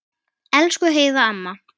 Elsku Heiða amma.